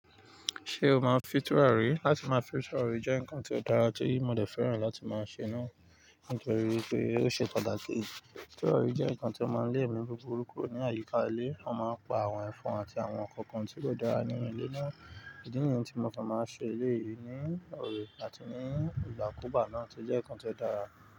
Ṣé o máa ń fì túràrí? Láti máa fì túràrí jẹ́ nǹkan tó dára tí mo dẹ̀ fẹ́ràn láti máa ṣe náà nítorí wípé ó ṣe pàtàkì. Ìtúrà jẹ́ nǹkan tí ó máa ń lé ẹmí búburú kúrò ní àyíká ilé. Wọ́n máa ń pa àwọn ẹ̀fọn àti àwọn ìkànkàn tí kò dára nínú ilé náà. Ìdí nìyí tí mo kan ń máa ṣe eléyìí ní oòrè àti ní ìgbàkúgbà náà tí ó jẹ́ nǹkan tí ó dára.